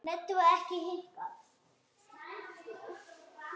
En Eddu varð ekki hnikað.